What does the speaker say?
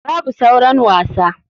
Babu sauran wasa.